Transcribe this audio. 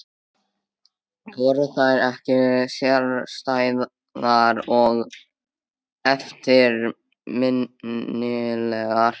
Voru þær ekki sérstæðar og eftirminnilegar?